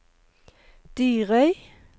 Dyrøy